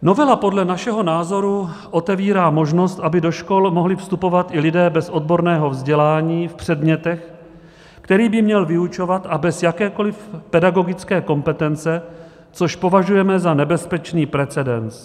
Novela podle našeho názoru otevírá možnost, aby do škol mohli vstupovat i lidé bez odborného vzdělání v předmětech, které by měli vyučovat, a bez jakékoli pedagogické kompetence, což považujeme za nebezpečný precedens.